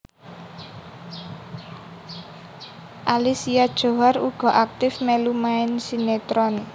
Alicia Djohar uga aktif mèlu main sinetron